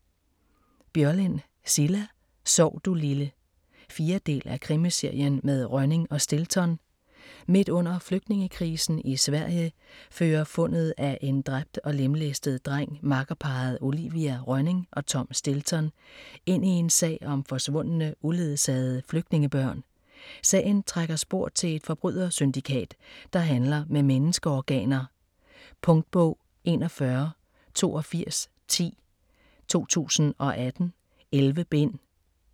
Börjlind, Cilla: Sov du lille 4. del af Krimiserien med Rönning og Stilton. Midt under flygtningekrisen i Sverige fører fundet af en dræbt og lemlæstet dreng makkerparret Olivia Rönning og Tom Stilton ind i en sag om forsvundne, uledsagede flygtningebørn. Sagen trækker spor til et forbrydersyndikat, der handler med menneskeorganer. Punktbog 418210 2018. 11 bind.